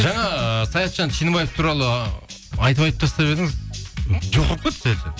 жаңа саятжан туралы айтып айтып тастап едіңіз жоқ болып кетті